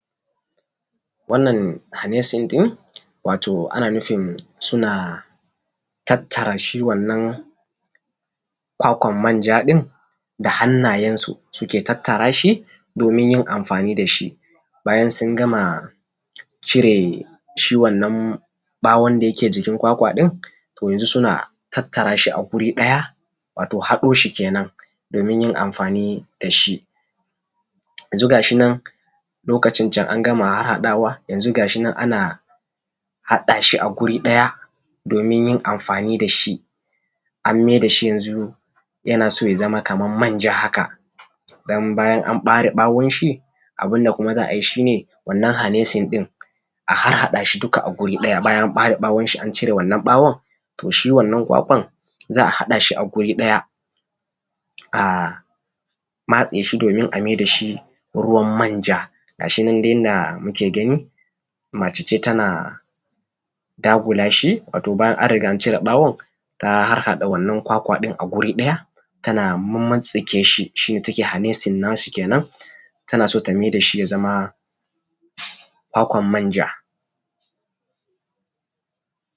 wannan hanesin din wato ana nufin suna tattara shi wannan kwakwan manja din da hannayen su suke tattara shi domin yin amfani dashi bayan sun gama cire shi wannan bawon dake jikin kwakwa din to suna tattarashi a guri daya wato suna hadoshi kenan domin yin amfani dashi, yanzu gashinan lokacin angama haddawa, yanzu gashinan an hadashi a guri daya domin yin amfani dashi anmai dashi yazama Kaman manja haka. Dan bayan an bare bawonshi abunda kuma za’ayi shine wannan hanesin din a hada shi duka a guri daya bayan an bare bawonshi an cire bawon toshi wannan kwakwan za’a hadashi a guri daya a matseshi domin a maida shi ruwan manja. gashinan yanda muke gani mace ce tana dagula shi wato bayan anriga an cire bawon ta harhada wannan kwakwadin aguri daya tana mummutsitstsike shi tayi hanesin nashi kenan tana so ta mai dashi yazama kwakwan manja